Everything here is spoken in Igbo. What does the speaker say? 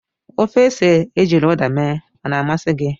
Ofe ose ejiri Uda mee o na-amasị gị?